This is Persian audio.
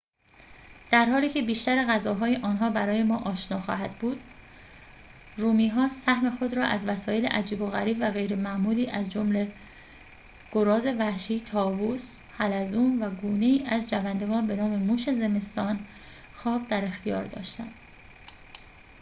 در حالی که بیشتر غذاهای آنها برای ما آشنا خواهد بود رومی ها سهم خود را از وسایل عجیب و غریب و غیر معمولی از جمله گراز وحشی طاووس حلزون و گونه ای از جوندگان بنام موش زمستان خواب در اختیار داشتند